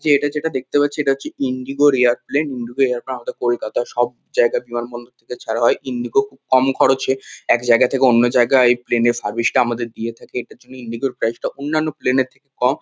যে এটা যেটা দেখতে পাচ্ছি এত হচ্ছে ইন্ডিগো -র এয়ারপ্লেন ইন্ডিগো এয়ারপ্লেন আমাদের কলকাতার সব জায়গায় বিমানবন্দর থেকে ছাড়া হয়। ইন্ডিগো খুব কম খরচে এক জায়গা থেকে অন্য জায়গায় এই প্লেন -এর সার্ভিস টা আমাদের দিয়ে থাকে। এটার জন্য ইন্ডিগো -র প্রাইস -টা অন্যান্য প্লেন -এর থেকে কম।